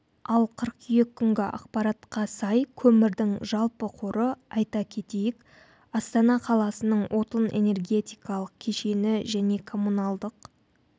ал қыркүйек күнгі ақпаратқа сай көмірдің жалпы қоры айта кетейік астана қаласының отын-энергетикалық кешені және коммуналдық